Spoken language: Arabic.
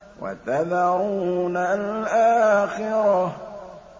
وَتَذَرُونَ الْآخِرَةَ